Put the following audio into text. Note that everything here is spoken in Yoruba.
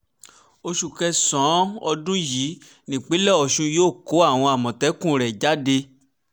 oṣù kẹsàn-án ọdún yìí nípínlẹ̀ ọ̀ṣun yóò kó àwọn àmọ̀tẹ́kùn rẹ̀ jáde